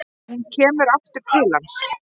Hún kemur aftur til hans.